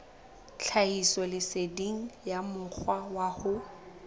tlhahisoleseding ya mokgwa wa ho